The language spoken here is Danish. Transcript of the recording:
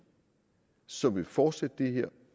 som vil fortsætte det her